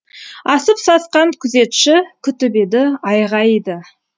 асып сасқан күзетші күтіп еді айғайды